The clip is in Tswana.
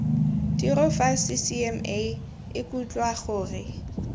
tiro fa ccma ikutlwa gore